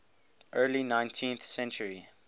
early nineteenth century